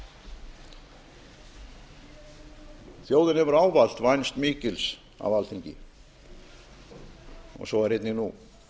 lýðveldisins þjóðin hefur ávallt vænst mikils af alþingi og svo er einnig nú